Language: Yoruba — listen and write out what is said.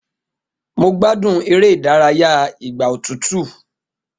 Mo gbádùn eré ìdárayá ìgbà òtútú